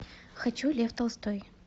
хочу лев толстой